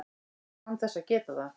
án þess að geta það.